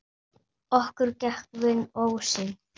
Okkur gekk vel inn ósinn.